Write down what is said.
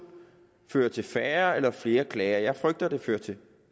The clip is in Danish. fører til færre eller flere klager jeg frygter at det fører til